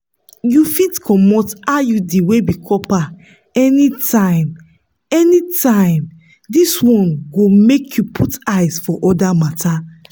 you fit comot iud wey be copper anytime anytime this one go make you put eyes for other matters.